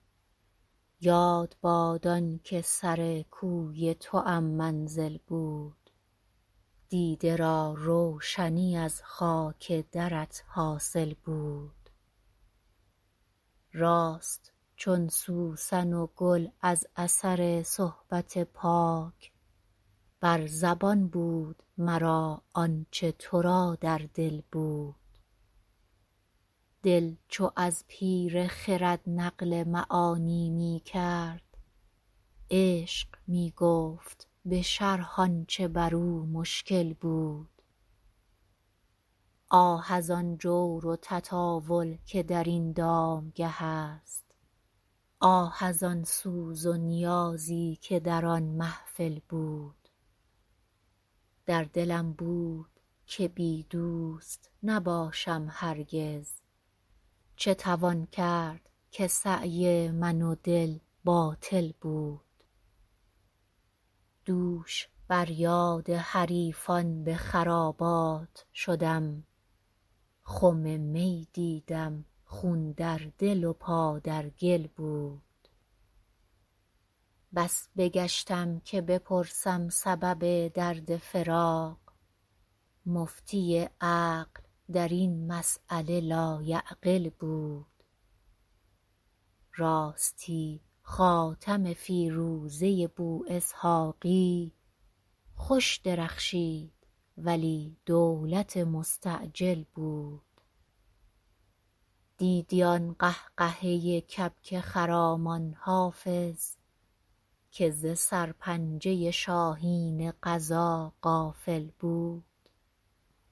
یاد باد آن که سر کوی توام منزل بود دیده را روشنی از خاک درت حاصل بود راست چون سوسن و گل از اثر صحبت پاک بر زبان بود مرا آن چه تو را در دل بود دل چو از پیر خرد نقل معانی می کرد عشق می گفت به شرح آن چه بر او مشکل بود آه از آن جور و تطاول که در این دامگه است آه از آن سوز و نیازی که در آن محفل بود در دلم بود که بی دوست نباشم هرگز چه توان کرد که سعی من و دل باطل بود دوش بر یاد حریفان به خرابات شدم خم می دیدم خون در دل و پا در گل بود بس بگشتم که بپرسم سبب درد فراق مفتی عقل در این مسأله لایعقل بود راستی خاتم فیروزه بواسحاقی خوش درخشید ولی دولت مستعجل بود دیدی آن قهقهه کبک خرامان حافظ که ز سرپنجه شاهین قضا غافل بود